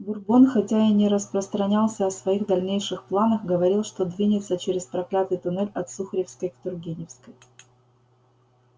бурбон хотя и не распространялся о своих дальнейших планах говорил что двинется через проклятый туннель от сухаревской к тургеневской